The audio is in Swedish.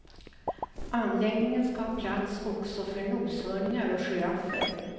Anläggningen ska ha plats också för noshörningar och giraffer.